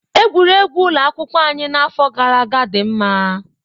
Egwuregwu ụlọ akwụkwọ anyị n'afọ gara aga dị mma.